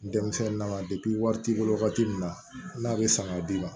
Denmisɛnnin na wari t'i bolo wagati min na n'a bɛ san ka d'i ma